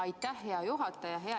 Aitäh, hea juhataja!